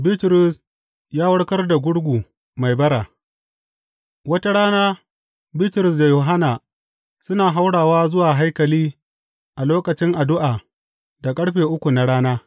Bitrus ya warkar da gurgu mai bara Wata rana, Bitrus da Yohanna suna haurawa zuwa haikali a lokacin addu’a da ƙarfe uku na rana.